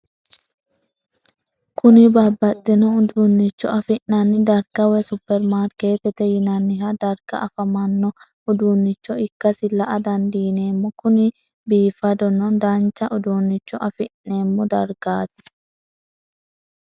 Kuni babaxino udunicho afina'ni darga woyi superimarketete yinaniha darga afamanno udunicho ikasi la'a dandineemo Kuni bifadona dancha udunicho afine'mo dargati?